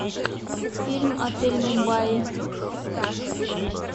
фильм отель мумбаи